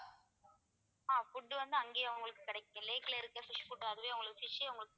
ஆஹ் food வந்து அங்கேயும் உங்களுக்கு கிடைக்கும் lake ல இருக்க fish food அதுவே உங்களுக்கு fish ஏ உங்களுக்கு